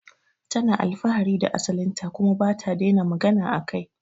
Tana alfahari da asalin ta kuma bata daina magana akai